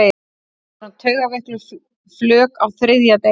Við vorum taugaveikluð flök á þriðja degi.